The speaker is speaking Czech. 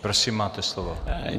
Prosím, máte slovo.